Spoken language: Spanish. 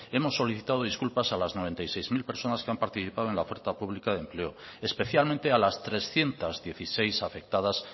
hemos solicitado disculpas a las noventa y seis mil personas que han participado en la oferta pública de empleo especialmente a las trescientos dieciséis afectadas